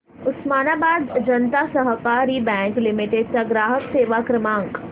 उस्मानाबाद जनता सहकारी bank limited चा ग्राहक सेवा क्रमांक